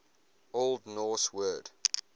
old norse word